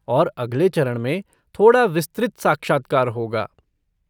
और अगले चरण में थोड़ा विस्तृत साक्षात्कार होगा।